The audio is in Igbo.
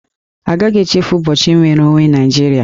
A gaghị echefu ụbọchị nnwere onwe Naịjirịa